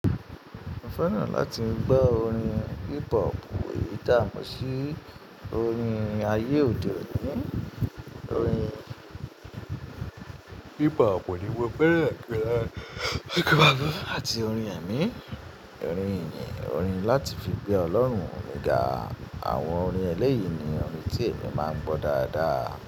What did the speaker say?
Mo fẹ́ràn láti gbọ́ orin hip hop èyí tàá mó sí orin ayé òde oni, orin hip hop ni mo fẹ́ràn jùlọ àti orin ẹ̀mí, orin ìyìn, orin láti fi gbé Ọlọ́run mi gà àwọn orin ẹlẹ́yìí ni orin tí èmi máa ń gbọ́ dáadáa.